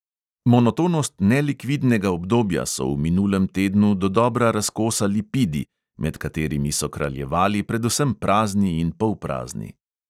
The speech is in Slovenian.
Monotonost nelikvidnega obdobja so v minulem tednu dodobra razkosali pidi, med katerimi so kraljevali predvsem prazni in polprazni.